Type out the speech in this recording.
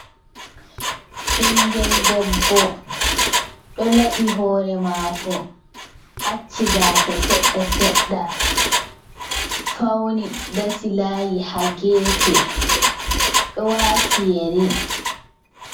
Ɓinngel debbo ɗo laɓi hoore maako, acci gaasa seɗɗa seɗɗa, fawni dasi laayi haa geefe ,ɗo waati yeri.